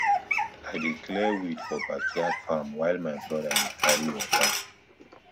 i dey clear weed for backyard farm while my brother dey carry water